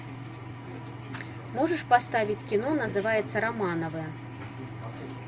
можешь поставить кино называется романовы